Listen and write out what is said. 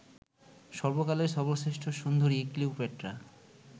সর্বকালের সর্বশ্রেষ্ঠ সুন্দরী ক্লিওপেট্রা